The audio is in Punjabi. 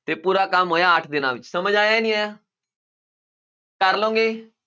ਤੇ ਪੂਰਾ ਕੰਮ ਹੋਇਆ ਅੱਠ ਦਿਨਾਂ ਵਿੱਚ ਸਮਝ ਆਇਆ ਨਹੀਂ ਆਇਆ ਕਰ ਲਓਗੇ।